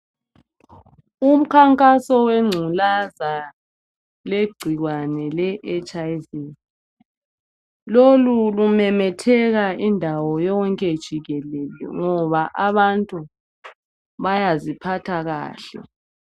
umkhankaso wenculaza legcikwane le HIV lolu lumemetheka indawo yonke jikelele ngoba abantu bayaziphatha kahle